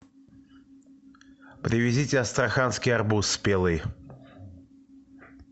привезите астраханский арбуз спелый